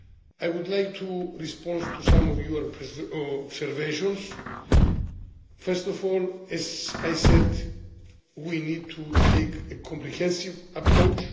I would like to respond to some of your observations. First of all, as I said, we need to take a comprehensive approach.